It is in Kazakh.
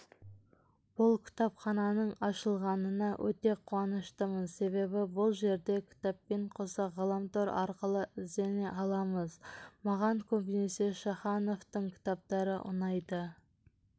бұл кітапхананың ашылғанына өте қуаныштымын себебі бұл жерде кітаппен қоса ғаламтор арқылы іздене аламыз маған көбінесе шахановтың кітаптары ұнайды